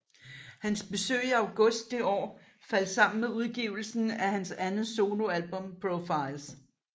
Hans besøg i august det år faldt sammen med udgivelsen af hans andet soloalbum Profiles